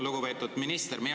Lugupeetud minister!